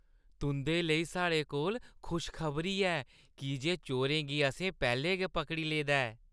तुंʼदे लेई साढ़े कोल खुश खबरी ऐ की जे चोरें गी असें पैह्‌लें गै पकड़ी लेदा ऐ।